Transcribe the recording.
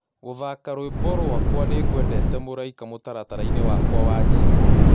gũthaka rwĩmbo rwakwa nĩngwendete mũraĩka mutarataraini wakwa wa nyĩmbo